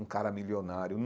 um cara milionário.